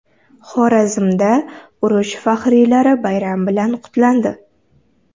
Xorazmda urush faxriylari bayram bilan qutlandi.